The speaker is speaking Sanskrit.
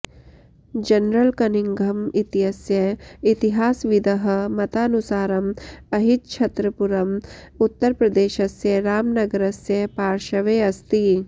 जनरल कनिंघम इत्यस्य इतिहासविदः मतानुसारम् अहिच्छत्रपुरम् उत्तरप्रदेशस्य रामनगरस्य पार्श्वे अस्ति